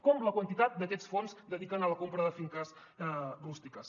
com la quantitat d’aquests fons que es dediquen a la compra de finques rústiques